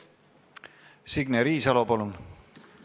Signe Riisalo, palun!